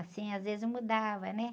Assim, às vezes eu mudava, né?